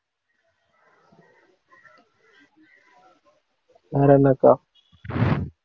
வேற என்ன அக்கா?